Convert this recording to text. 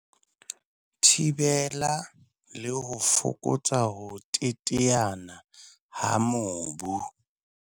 Thibela le ho fokotsa ho teteana ha mobu.